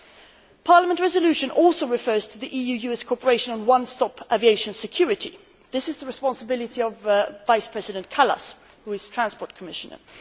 The Parliament resolution also refers to the EU US cooperation on one stop aviation security. This is the responsibility of Vice President Kallas who is Transport Commissioner.